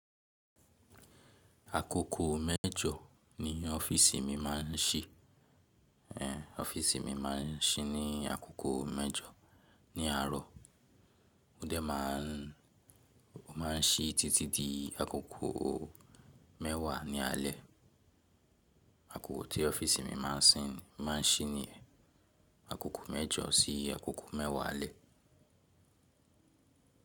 Agogo mẹ́jọ ni ọ́fíìsì mi máa ń ṣí, ee, ọ́fíìsì mi máa ń ṣí ní agogo mẹ́jọ ní àárọ̀ ó dẹ̀ máa ń ṣí títí di agogo mẹ́wà ní alẹ́, agogo tí ọ́fíìsì mi máa ń ṣí nìyẹn, agogo mẹ́jọ sí agogo mẹ́wà alẹ́.